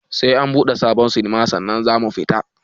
Sai an buɗe sabon sinima sannan zamu fita